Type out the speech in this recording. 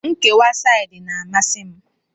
Nkewa saidị na-amasi m